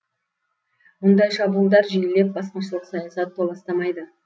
мұндай шабуылдар жиілеп басқыншылық саясат толастамайды